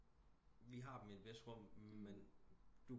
Vi har dem i et hvis rum men